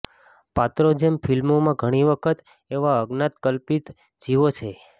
પાત્રો જેમ ફિલ્મોમાં ઘણી વખત એવા અજ્ઞાત કલ્પિત જીવો છે